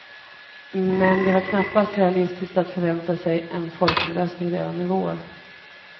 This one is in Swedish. Men det var knappast realistiskt att förvänta sig en folkomröstning redan i vår.